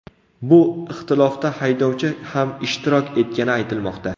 Bu ixtilofda haydovchi ham ishtirok etgani aytilmoqda.